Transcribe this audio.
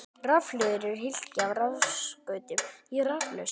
Rafhlöður eru hylki með rafskautum í raflausn.